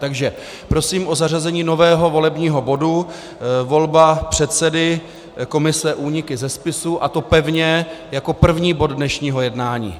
Takže prosím o zařazení nového volebního bodu volba předsedy komise úniky ze spisů, a to pevně jako první bod dnešního jednání.